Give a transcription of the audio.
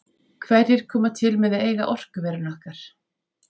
Hverjir koma til með að eiga orkuverin okkar?